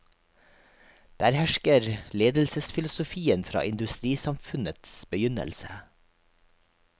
Der hersker ledelsesfilosofien fra industrisamfunnets begynnelse.